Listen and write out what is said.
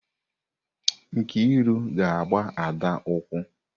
Nkiru ga agba Ada ụkwù.